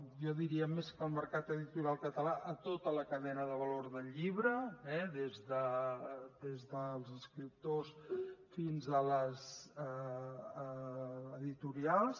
jo diria més que el mercat editorial català a tota la cadena de valor del llibre eh des dels escriptors fins a les editorials